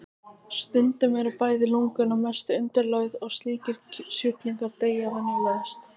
Stundum eru bæði lungun að mestu undirlögð og slíkir sjúklingar deyja venjulegast.